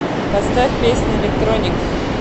поставь песня электроник